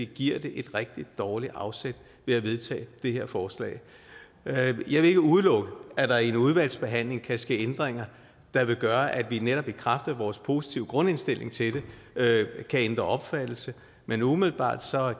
giver det et rigtig dårligt afsæt ved at vedtage det her forslag jeg vil ikke udelukke at der i udvalgsbehandlingen kan ske ændringer der vil gøre at vi netop i kraft af vores positive grundindstilling til det kan ændre opfattelse men umiddelbart